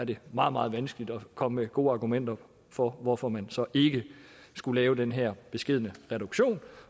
det meget meget vanskeligt at komme med gode argumenter for hvorfor man så ikke skulle lave den her beskedne reduktion